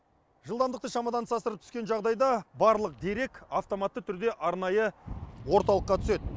жылдамдықты шамадан тыс асырып түскен жағдайда барлық дерек автоматты түрде арнайы орталыққа түседі